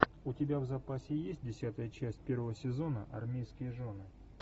у тебя в запасе есть десятая часть первого сезона армейские жены